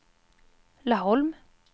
Laholm